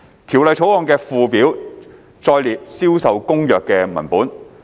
《條例草案》的附表載列《銷售公約》的文本。